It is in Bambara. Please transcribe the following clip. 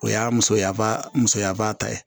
O y'a musoya musoya ba ta ye